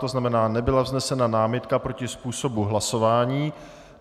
To znamená, nebyla vznesena námitka proti způsobu hlasování.